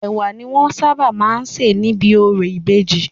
Ẹ̀wà ni wọ́n sábà má ń sė níbi orò ìbejì.